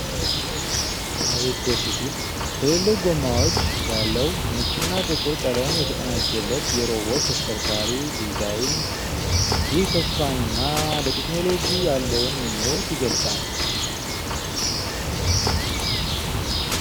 አቤት ደስ ሲል! ትልልቅ ጎማዎች ያለው፣ ነጭና ጥቁር ቀለም የተቀናጀለት የሮቦት ተሽከርካሪ ዲዛይን አለ። ይህ ተስፋንና ለቴክኖሎጂ ያለውን ምኞት ይገልጻል።